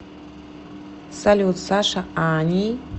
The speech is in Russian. салют саша ани